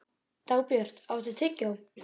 Dagbjört, áttu tyggjó?